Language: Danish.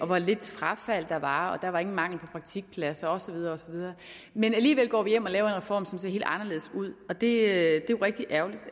hvor lidt frafald der var og der var ingen mangel på praktikpladser og så videre og så videre men alligevel går vi hjem og laver en reform der ser helt anderledes ud og det er jo rigtig ærgerligt